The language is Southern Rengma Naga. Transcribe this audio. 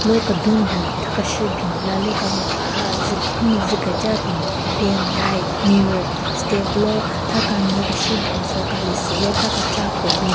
Ro kedun bin tha keshü bin lalyu kanyü paha zu khin zu keja bin fan light mirror step lo tha kanyü keshu bin soka lesu lo tha kecha ko bin.